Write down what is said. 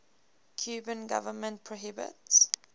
cuban government prohibits